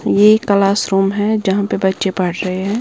ये क्लासरूम है जहां पे बच्चे पढ़ रहे हैं।